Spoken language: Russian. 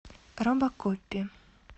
робокопи